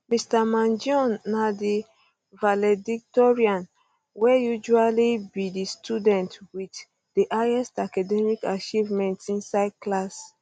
mr mangione na di valedictorian wey usually be di student with um di highest academic achievements inside class